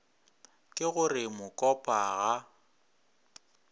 ke go re mokopa ga